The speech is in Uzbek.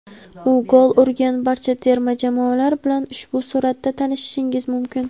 U gol urgan barcha terma jamoalar bilan ushbu suratda tanishishingiz mumkin.